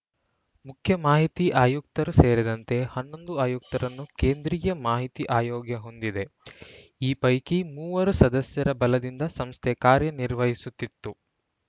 ಮುಖ್ಯ ಮಾಹಿತಿ ಆಯುಕ್ತರು ಸೇರಿದಂತೆ ಹನ್ನೊಂದು ಆಯುಕ್ತರನ್ನು ಕೇಂದ್ರೀಯ ಮಾಹಿತಿ ಆಯೋಗ ಹೊಂದಿದೆ ಈ ಪೈಕಿ ಮೂವರು ಸದಸ್ಯರ ಬಲದಿಂದ ಸಂಸ್ಥೆ ಕಾರ್ಯರ್ನಿಹಿಸುತ್ತಿತ್ತು